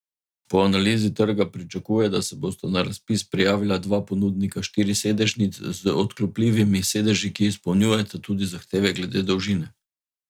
Po analizi trga pričakuje, da se bosta na razpis prijavila dva ponudnika štirisedežnic z odklopljivimi sedeži, ki izpolnjujeta tudi zahteve glede dolžine.